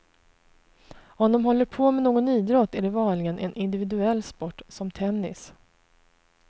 Om de håller på med någon idrott är det vanligen en individuell sport, som tennis.